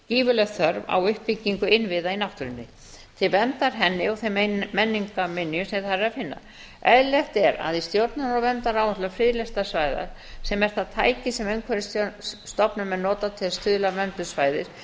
gífurleg þörf á uppbyggingu innviða í náttúrunni til verndar henni og þeim menningarminjum sem þar er að finna eðlilegt er að í stjórnunar og verndaráætlun friðlýstra svæða sem er það tæki sem umhverfisstofnun mun nota til að stuðla að verndun svæðis